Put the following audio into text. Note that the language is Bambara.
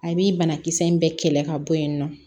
A bi banakisɛ in bɛɛ kɛlɛ ka bɔ yen nɔ